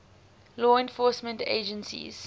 law enforcement agencies